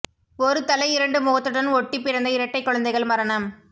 ஒரு தலை இரண்டு முகத்துடன் ஒட்டிப் பிறந்த இரட்டைக் குழந்தைகள் மரணம்